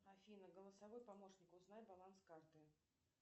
афина голосовой помощник узнай баланс карты